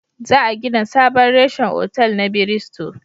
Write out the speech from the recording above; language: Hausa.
Za a gina sabon reshen otal na Biristo